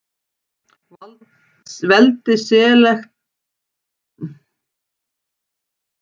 Veldi Selevkída er arfur Alexanders, þar sem grísk menning ræður ríkjum.